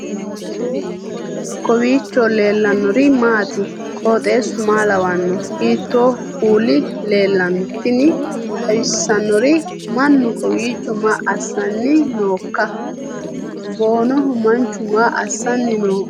kowiicho leellannori maati ? qooxeessu maa lawaanno ? hiitoo kuuli leellanno ? tini xawissannori mannu kowiicho maa assanni nooikka boonoho manchu maa assanni nooikka